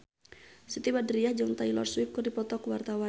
Siti Badriah jeung Taylor Swift keur dipoto ku wartawan